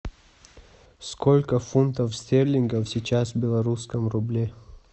сколько фунтов стерлингов сейчас в белорусском рубле